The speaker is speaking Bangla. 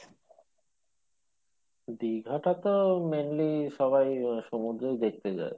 দীঘাটা তো mainly সবাই আহ সমুদ্রওই দেখতে যাই